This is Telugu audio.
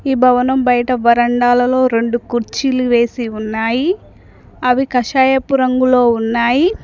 ఈ భవనం బయట వరండాలలో రెండు కుర్చీలు వేసి ఉన్నాయి అవి కషాయపు రంగులో ఉన్నాయి.